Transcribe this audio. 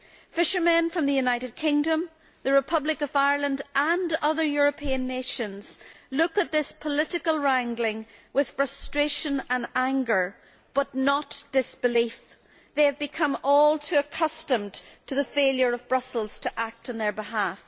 Fishermen from the United Kingdom, the Republic of Ireland and other European nations look at this political wrangling with frustration and anger, but not disbelief they have become all too accustomed to the failure of Brussels to act on their behalf.